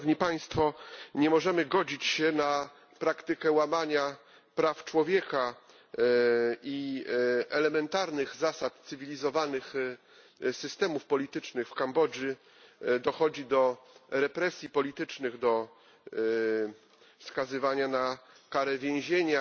Nie możemy godzić się na praktykę łamania praw człowieka i elementarnych zasad cywilizowanych systemów politycznych w Kambodży. Dochodzi do represji politycznych, do skazywania na kary więzienia,